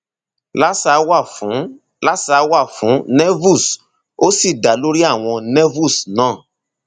laser wà fún laser wà fún nevus ó sì dá lórí àwọ nevus náà